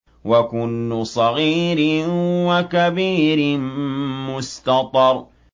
وَكُلُّ صَغِيرٍ وَكَبِيرٍ مُّسْتَطَرٌ